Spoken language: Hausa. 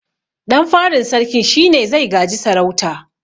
Ɗan farin sarkin shine zai gaji sarauta